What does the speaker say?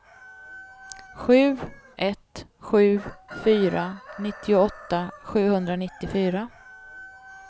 sju ett sju fyra nittioåtta sjuhundranittiofyra